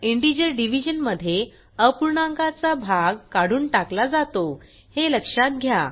integer division मध्ये अपूर्णांकाचा भाग काढून टाकला जातो हे लक्षात घ्या